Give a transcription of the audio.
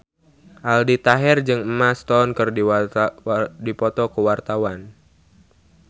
Aldi Taher jeung Emma Stone keur dipoto ku wartawan